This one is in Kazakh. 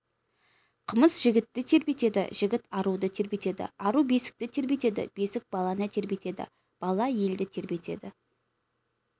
қымыз жігітті тербетеді жігіт аруды тербетеді ару бесікті тербетеді бесік баланы тербетеді бала елді тербетеді